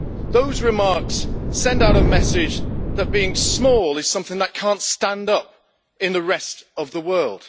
Those remarks send out a message that being small is something that cannot stand up in the rest of the world.